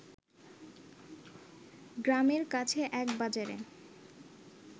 গ্রামের কাছে এক বাজারে